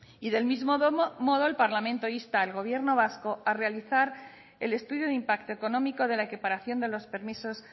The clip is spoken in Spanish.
y del mismo modo el parlamento insta al gobierno vasco a realizar el estudio de impacto económico de la equiparación de los permisos